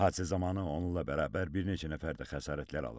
Hadisə zamanı onunla bərabər bir neçə nəfər də xəsarətlər alıb.